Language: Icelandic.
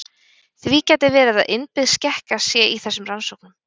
Því gæti verið að innbyggð skekkja sé í þessum rannsóknum.